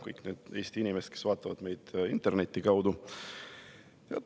Kõik need Eesti inimesed, kes vaatavad meid interneti kaudu!